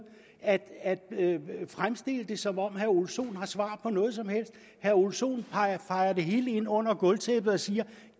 at fremstille det som om herre ole sohn har svar på noget som helst herre ole sohn fejer det hele ind under gulvtæppet og siger